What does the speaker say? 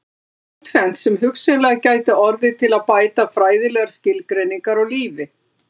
Það er einkum tvennt sem hugsanlega gæti orðið til að bæta fræðilegar skilgreiningar á lífi.